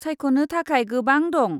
सायख'नो थाखाय गोबां दं।